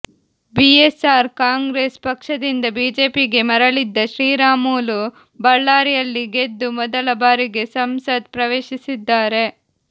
BSR Congress ಪಕ್ಷದಿಂದ ಬಿಜೆಪಿಗೆ ಮರಳಿದ್ದ ಶ್ರೀರಾಮುಲು ಬಳ್ಳಾರಿಯಲ್ಲಿ ಗೆದ್ದು ಮೊದಲ ಬಾರಿಗೆ ಸಂಸತ್ ಪ್ರವೇಶಿಸಿದ್ದಾರೆ